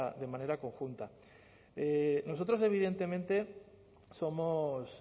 de manera conjunta nosotros evidentemente somos